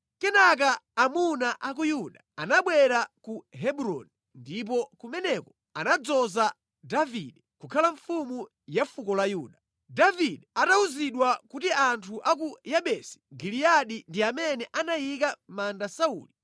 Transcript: Kenaka amuna a ku Yuda anabwera ku Hebroni ndipo kumeneko anadzoza Davide kukhala mfumu ya fuko la Yuda. Davide atawuzidwa kuti anthu a ku Yabesi Giliyadi ndi amene anayika mʼmanda Sauli,